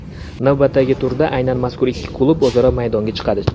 Navbatdagi turda aynan mazkur ikki klub o‘zaro maydonga chiqadi.